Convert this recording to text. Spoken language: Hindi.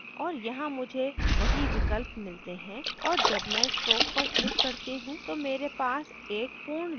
और यहाँ मुझे वही विकल्प मिलते हैं और जब मैं stroke पर click करती हूँ तो मेरे पास एक पूर्ण line है